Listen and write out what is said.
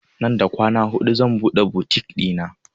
Nan da kwana hudu zan buɗe butik ɗina